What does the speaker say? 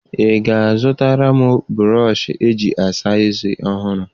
Ị ga-azụtara m brọshị eji asa eze ọhụrụ?